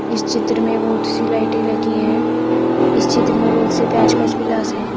इस चित्र में बहुत सी लाइटें लगी हैं। इस चित्र में बहुत सी पेंचकस पिलास हैं।